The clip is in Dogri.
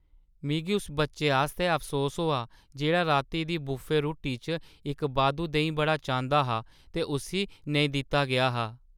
मिगी उस बच्चे आस्तै अफसोस होआ जेह्ड़ा राती दी बुफे रुट्टी च इक बाद्धू देहीं बड़ा चांह्‌दा हा ते उस्सी नेईं दित्ता गेआ हा।